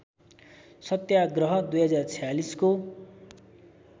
सत्याग्रह २०४६ को